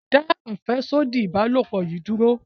dá afẹsodi ìbálòpọ̀ yí dúró!